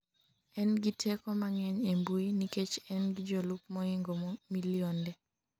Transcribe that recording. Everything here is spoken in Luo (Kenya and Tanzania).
en gi teko mang'eny e mbui nikech en gi jolup mohingo milionde